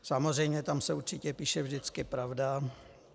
Samozřejmě, tam se určitě píše vždycky pravda.